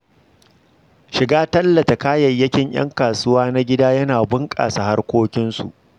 Shiga tallata kayayyakin ‘yan kasuwa na gida yana bunƙasa harkokinsu.